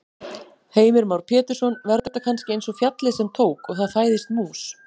Heimir Már Pétursson: Verður þetta kannski eins og fjallið sem tók. og það fæðist mús?